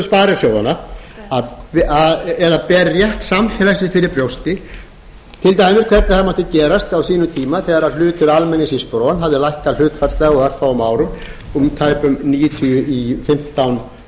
sem virðir hugsjónir sparisjóðanna eða ber rétt samfélagsins fyrir brjósti til dæmis hvernig það mætti gerast á sínum tíma þegar hlutur almennings í spron hafði lækkað hlutfallslega á örfáum árum úr tæpum níutíu prósent í fimmtán